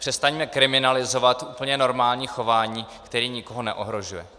Přestaňme kriminalizovat úplně normální chování, které nikoho neohrožuje.